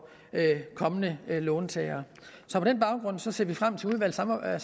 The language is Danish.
kommende låntagere så på den baggrund ser vi frem til udvalgsarbejdet